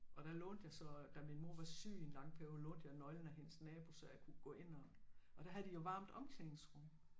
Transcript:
Og der lånte jeg så da min mor var syg i en lang periode lånte jeg nøglen af hendes nabo så jeg kunne gå ind og og der havde de jo varmt omklædningsrum